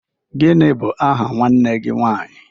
Gịnị bụ aha nwanne gị nwaanyị?